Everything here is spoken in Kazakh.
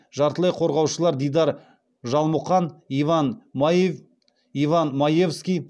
жартылай қорғаушылар дидар жалмұқан иван маевский